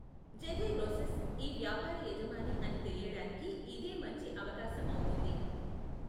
Jerry Rosen ఈ వ్యాపార యజమాని అని తెలియడానికి ఇదే మంచి అవకాశం అవుతుంది.